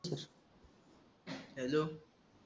hello